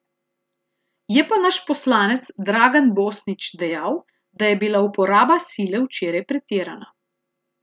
Je pa naš poslanec Dragan Bosnič dejal, da je bila uporaba sile včeraj pretirana.